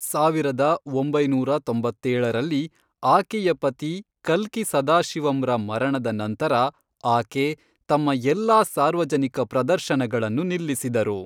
ಸಾವಿರದ ಒಂಬೈನೂರ ತೊಂಬತ್ತೇಳರಲ್ಲಿ, ಆಕೆಯ ಪತಿ ಕಲ್ಕಿ ಸದಾಶಿವಂರ ಮರಣದ ನಂತರ ಆಕೆ ತಮ್ಮ ಎಲ್ಲಾ ಸಾರ್ವಜನಿಕ ಪ್ರದರ್ಶನಗಳನ್ನು ನಿಲ್ಲಿಸಿದರು.